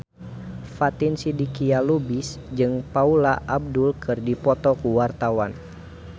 Fatin Shidqia Lubis jeung Paula Abdul keur dipoto ku wartawan